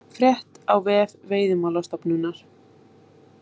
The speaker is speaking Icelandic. Frétt á vef Veiðimálastofnunar